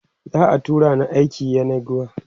za'a tura ni aiki yenagoa